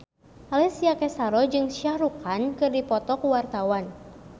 Alessia Cestaro jeung Shah Rukh Khan keur dipoto ku wartawan